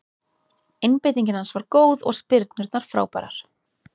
Einbeitingin hans var góð og spyrnurnar frábærar.